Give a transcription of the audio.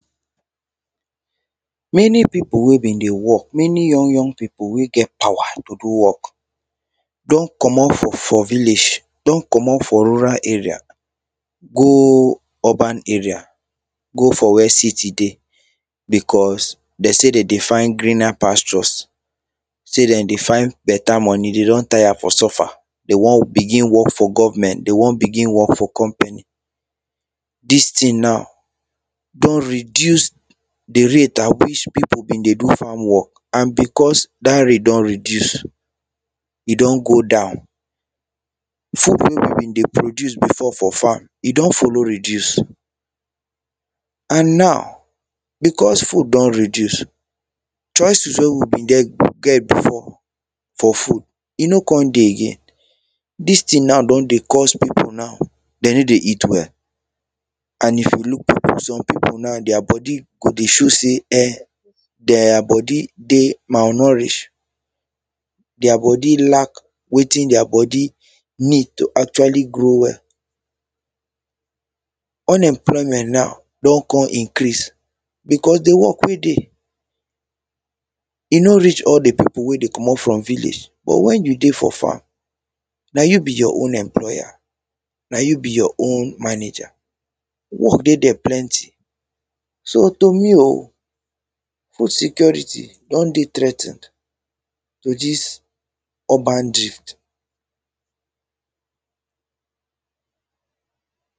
many people wey been dey work many young young people wey get power to do work don comot for village don comot for rural area go urban area go for where city dey because they say they dey find greener pastures say they dey find beta money they don tire for suffer they won begin work for government they won begin work for company this thing now don reduce the rate at which people been dey do farm work and because that rate don reduce e don go down wey we been dey produce before for farm e don follow reduce and now because food don reduce choices wey we been get before for food e no con dey again this thing now don dey cause people now they no dey eat well and if you look people some people now their body go dey show say um their body dey malnourish their body lack wetin their body need to actually grow well unemployment now don con increase because the work wey dey e no reach all the people wey dey comot from village but when you dey for farm na you be your own employer na you be your own manager work dey there plenty so to me o food security don dey threa ten ed with this urban drift